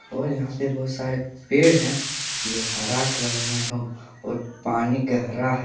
और यहां पे बहुत सारे पेड़ है जो हरा कलर में हो और पानी गहरा है।